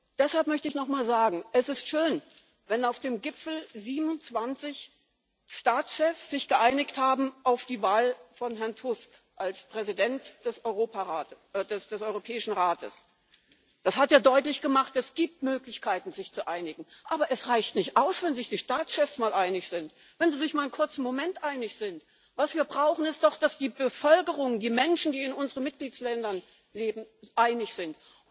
Deshalb möchte ich nochmal sagen Es ist schön, wenn sich auf dem Gipfel 27 Staatschefs auf die Wahl von Herrn Tusk als Präsident des Europäischen Rates geeinigt haben. Das hat ja deutlich gemacht Es gibt Möglichkeiten, sich zu einigen, aber es reicht nicht aus, wenn sich die Staatschefs mal einig sind, wenn sie sich mal für einen kurzen Moment einig sind. Was wir brauchen, ist doch, dass die Bevölkerung, die Menschen, die in unseren Mitgliedsländern leben, einig sind.